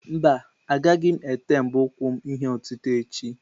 Mba, agaghị m ete mbọ ụkwụ m ihe otite echi.